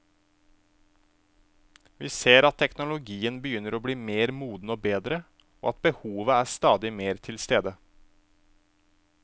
Vi ser at teknologien begynner å bli mer moden og bedre, og at behovet er stadig mer til stede.